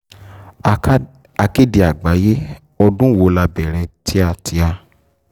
aká akéde àgbáyé ọdún wo la bẹ̀rẹ̀ tíátá